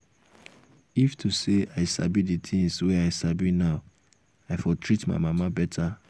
if to say i sabi the things wey i sabi now i for treat my mama better